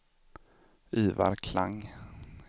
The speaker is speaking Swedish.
Ivar Klang